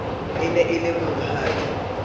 e ne e le monghadi